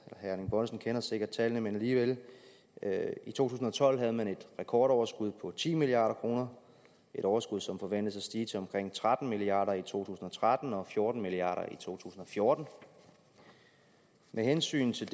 erling bonnesen kender sikkert tallene men alligevel i to tusind og tolv havde man et rekordoverskud på ti milliard kroner et overskud som forventes at stige til omkring tretten milliard kroner i to tusind og tretten og fjorten milliard kroner i to tusind og fjorten med hensyn til